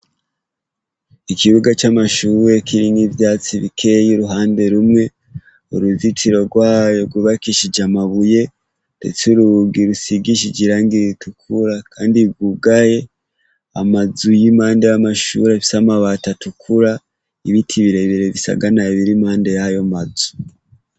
Ikibuga c' amashure kirimw' ivyatsi bikey' uruhande rumwe, uruzitiro rwayo rwubakishij' amabuye ndetse n' urugi rusigishij' irangi ritukura kandi rwugaye, amazu y' impande y' amashur' afis' amabat' atukura, ibiti birebire bisaganaye biriruhande yayo mazu.